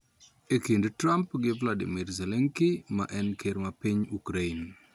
E kind Trump gi Volodymyr Zelenskiy ma en ker mar piny Ukraine